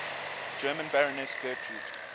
german baroness gertrud